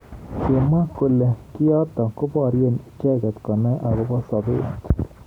Kimwa kole kiotok koborye icheket konai akobo sabet.